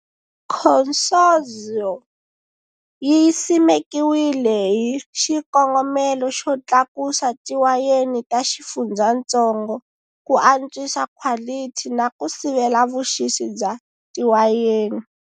Consorzio yi simekiwile hi xikongomelo xo tlakusa tiwayeni ta xifundzhantsongo, ku antswisa khwalithi na ku sivela vuxisi bya tiwayeni.